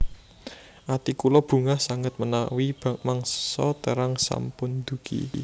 Ati kula bungah sanget menawi mangsa terang sampun ndugi